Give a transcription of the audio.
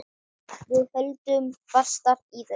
Við höldum fastar í þau.